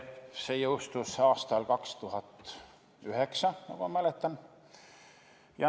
See jõustus aastal 2009, nagu ma mäletan.